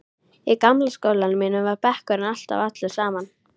Í gamla skólanum mínum var bekkurinn alltaf allur saman.